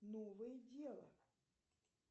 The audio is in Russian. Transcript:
новое дело